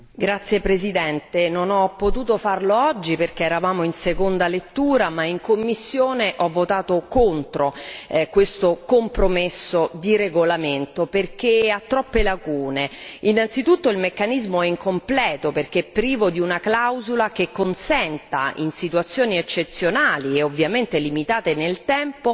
Signor Presidente, onorevoli colleghi, non ho potuto farlo oggi perché eravamo in seconda lettura, ma in commissione ho votato contro questo compromesso di regolamento, perché ha troppe lacune. Innanzitutto il meccanismo è incompleto perché privo di una clausola che consenta, in situazioni eccezionali e ovviamente limitate nel tempo,